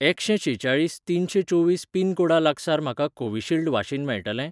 एकशें शेचाळीस तिनशें चोवीस पिनकोडा लागसार म्हाका कोविशिल्ड वाशीन मेळटलें?